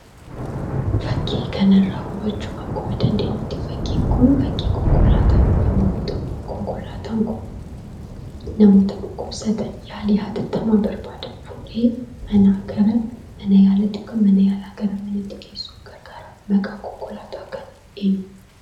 Fakkii kanarraa hubachuu akkuma dandeenyuttii fakkiin kun fakkii konkolaataa yemmuu ta'u konkolaataan kun namoota dhukkubsatan yaalii hatattamaa barbaadan fuudhee manaa gara mana yaalaatti yookaan mana yaalaa gara manaatti geessuuf gargara. Maqaan konkolaataa kanaa eenyu?